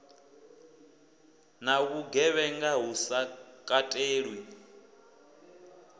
na vhugevhenga hu sa katelwi